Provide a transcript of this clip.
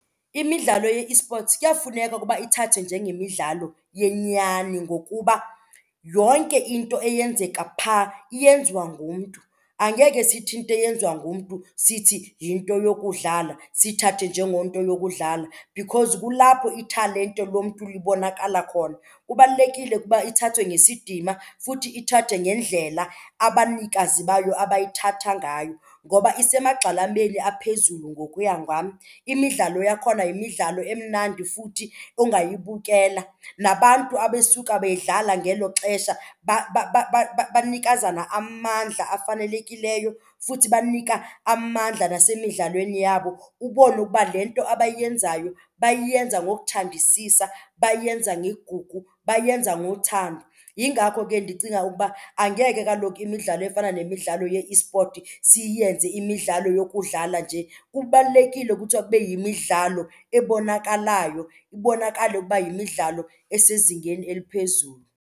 Imidlalo ye-esports kuyafuneka ukuba ithathwe njengemidlalo yenyani ngokuba yonke into eyenzeka phaa iyenziwa ngumntu. Angeke sithi into eyenziwa ngumntu sithi yinto yokudlala, siyithathe njengento yokudlala, because kulapho italente lomntu libonakala khona. Kubalulekile ukuba ithathwe ngesidima futhi ithathwe ngendlela abanikazi bayo abayithatha ngayo ngoba isemagxalabeni aphezulu ngokuya ngam. Imidlalo yakhona yimidlalo emnandi futhi ongayibukela, nabantu abesuka beyidlala ngelo xesha banikazana amandla afanelekileyo futhi banika amandla nasemidlalweni yabo, ubone ukuba le nto abayenzayo bayenza ngokuthandisisa, bayenza ngegugu, bayenza ngothando. Yingako ke ndicinga ukuba angeke kaloku imidlalo efana nemidlalo ye-esport siyenze imidlalo yokudlala nje. Kubalulekile kuthiwa kube yimidlalo ebonakalayo, ibonakale ukuba yimidlalo esezingeni eliphezulu.